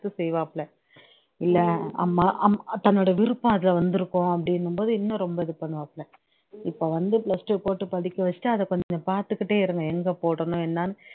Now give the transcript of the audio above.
செய்வாப்ல இல்ல அம்மா அம் தன்னோட விருப்பம் அத வந்துருக்கும் அப்டின்னும்போது இன்னும் ரொம்ப இது பண்ணுவாப்ல இப்ப வந்து plus two படிக்கவச்சுட்டு அத கொஞ்சம் பாத்துக்குட்டே இருங்க எங்க போடணும் என்னன்னு